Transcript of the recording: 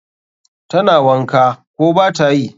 Tana wanka, ko batayi?